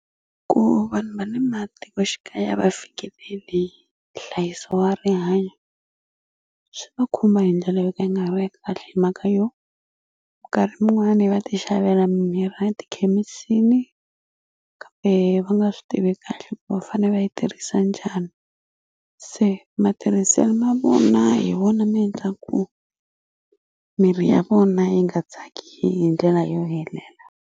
Ku vanhu va ni matikoxikaya a va fikeleli nhlayiso wa rihanyo swi va khumba hi ndlela yo i nga ri va hi mhaka yo minkarhi mun'wani va ti xavela mimirhi a tikhemisini kambe va nga swi tivi kahle ku va fane va yi tirhisa njhani se matirhiselo ma vona hi vona mi endla ku miri ya vona yi nga tsaki hi ndlela yo helela.